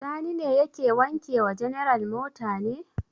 Sani ne yake wanke wa general mota ne?